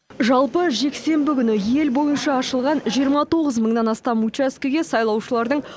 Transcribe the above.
жалпы жексенбі күні ел бойынша ашылған жиырма тоғыз мыңнан астам учаскеге сайлаушылардың